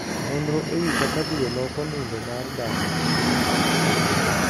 Nonro ewii kaka dwe loko nindo mar dhano.